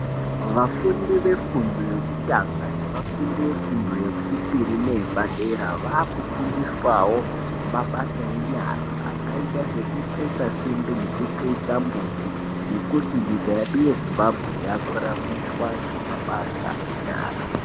Vafundi vefundo yekutanga nevafundi vefundo yechipiri neyepadera vaakufundiswawo mabasa enyara akaita sekutsetsa simbi nekutsetsa mbuti nekuti nyika yedu yeZimbabwe yakuraramiswa ngemabasa enyara.